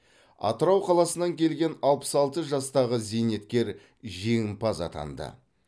атырау қаласынан келген алпыс алты жастағы зейнеткер жеңімпаз атанды